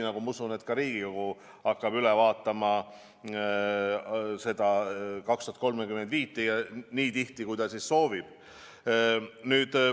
Ma usun, et ka Riigikogu hakkab seda "Eesti 2035" üle vaatama nii tihti, kui ta soovib.